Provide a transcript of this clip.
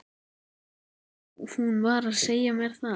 Já, hún var að segja mér það